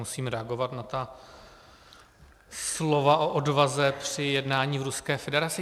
Musím reagovat na ta slova o odvaze při jednání v Ruské federaci.